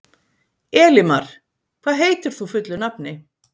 Elimar, hvað heitir þú fullu nafni?